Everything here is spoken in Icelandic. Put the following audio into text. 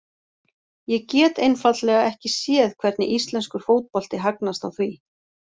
Ég get einfaldlega ekki séð hvernig íslenskur fótbolti hagnast á því.